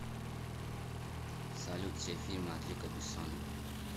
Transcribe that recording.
салют все фильмы от люка бессона